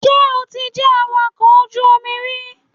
Ṣé o ti jẹ́ awakọ̀ ojú omi rí?